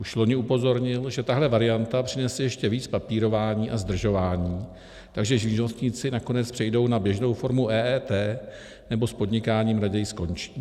Už loni upozornil, že tahle varianta přinese ještě víc papírování a zdržování, takže živnostníci nakonec přejdou na běžnou formu EET nebo s podnikáním raději skončí.